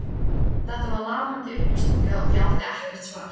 Þetta var lamandi uppástunga og ég átti ekkert svar.